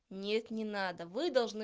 нет не надо вы должны